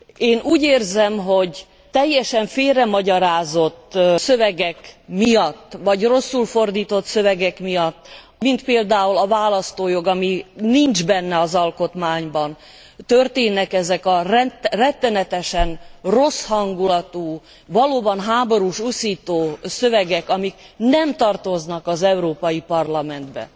Én úgy érzem, hogy teljesen félremagyarázott szövegek miatt, vagy rosszul fordított szövegek miatt mint például a választójog, ami nincs benne az alkotmányban történnek ezek a rettenetesen rossz hangulatú, valóban háborús uszító szövegek, amik nem tartoznak az Európai Parlamentbe.